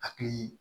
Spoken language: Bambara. Hakili